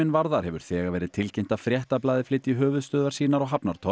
varðar hefur þegar verið tilkynnt að Fréttablaðið flytji höfuðstöðvar sínar á